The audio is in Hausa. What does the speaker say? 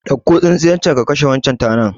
Ɗauko tsintsiyar can ka kashe wannan tanar